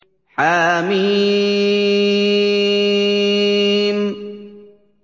حم